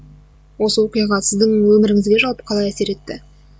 осы оқиға сіздің өміріңізге жалпы қалай әсер етті